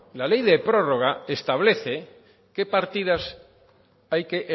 la ley de prórroga establece qué partidas hay que